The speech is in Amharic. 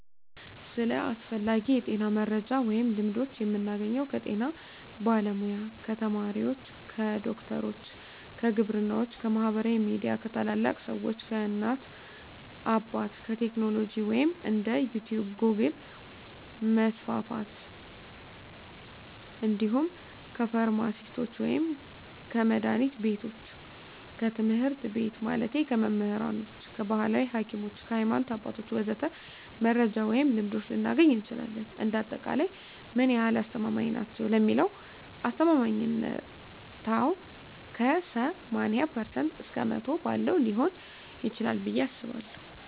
ስለ አስፈላጊ የጤና መረጃ ወይም ልምዶች የምናገኘው ከጤና ባለሙያ፣ ከተመራማሪዎች፣ ከዶክተሮች፣ ከግብርናዎች፣ ከማህበራዊ ሚዲያ፣ ከታላላቅ ሰዎች፣ ከእናት አባት፣ ከቴክኖሎጂ ወይም እንደ ዩቲቭ ጎግል% መስፍፍት እንዲሁም ከፍርማሲስቶች ወይም ከመድሀኒት ቢቶች፣ ከትምህርት ቤት ማለቴ ከመምህራኖች፣ ከባህላዊ ሀኪሞች፣ ከሀይማኖት አባቶች ወዘተ..... መረጃ ወይም ልምዶች ልናገኝ እንችላለን። እንደ አጠቃላይ ምን ያህል አስተማማኝ ናቸው ለሚለው አስተማማኝነታው ከ80% እስከ 100% ባለው ሊሆን ይችላል ብየ አስባለሁ።